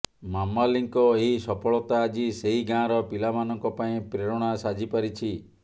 ମାମାଲିଙ୍କ ଏହି ସଫଳତା ଆଜି ସେହି ଗାଁର ପିଲାମାନଙ୍କ ପାଇଁ ପ୍ରେରଣା ସାଜିପାରିଛି